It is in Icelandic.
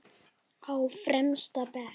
Á fremsta bekk.